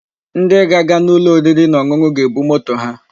Ndi ga-aga n'ulo oriri na onunu ga-ebu moto ha.